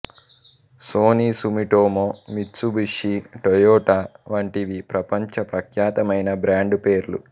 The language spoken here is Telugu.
సోనీ సుమిటోమో మిత్సుబిషి టొయోటా వంటివి ప్రపంచ ప్రఖ్యాతమైన బ్రాండ్ పేర్లు